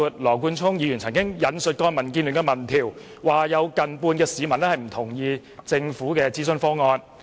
羅冠聰議員引述民建聯的一項民調，聲稱有近半數受訪者不同意政府的諮詢方案。